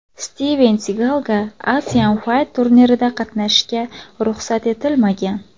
Stiven Sigalga Asian Fight turnirida qatnashishga ruxsat etilmagan.